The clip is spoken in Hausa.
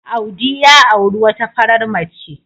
Audi ya auri wata farar mace.